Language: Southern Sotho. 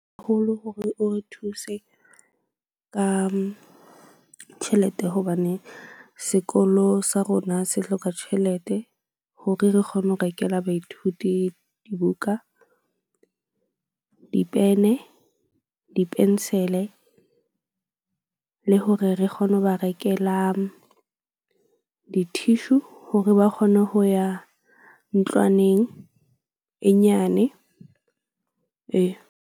Haholo hore o re thuse ka tjhelete hobane sekolo sa rona se hloka tjhelete. Hore re kgone ho rekela baithuti dibuka, dipene, di-pencil-e. Le hore re kgone ho ba rekela di-tissue hore ba kgone ho ya ntlwaneng e nyane ee.